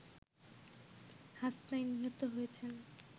হাসনাইন নিহত হয়েছেন